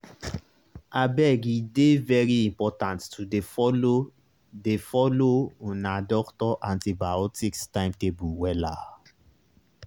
abege dey very important to dey follow dey follow una doctor antibiotics timetable wella.